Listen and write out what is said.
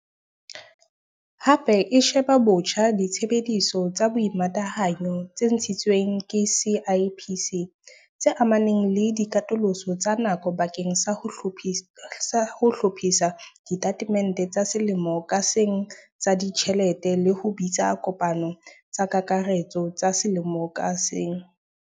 Hape e sheba botjha ditsebiso tsa boimatahanyo tse ntshitsweng ke CIPC, tse amanang le dikatoloso tsa nako bakeng sa ho hlophisa ditatemente tsa selemo ka seng tsa ditjhelete le ho bitsa dikopano tsa kakaretso tsa selemo ka seng.